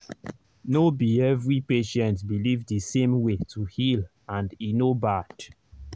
no be every patient believe the same way to heal and e no bad.